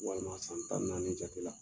Walima san tan ni naani jago la